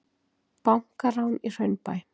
Bankarán í Hraunbæ